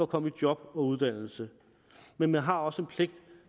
komme i job og uddannelse men man har også en pligt